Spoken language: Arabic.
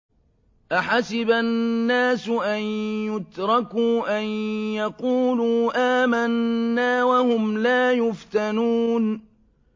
أَحَسِبَ النَّاسُ أَن يُتْرَكُوا أَن يَقُولُوا آمَنَّا وَهُمْ لَا يُفْتَنُونَ